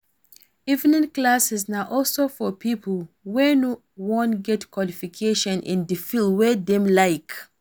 Evening classes na also for pipo wey won get more qualifications in the field wey Dem like